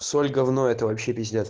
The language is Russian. соль говно это вообще пиздец